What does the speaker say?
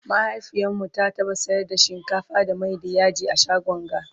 mahaifiyarmu ta taɓa sayar da shinkafa da Mai da yaji a shagon ga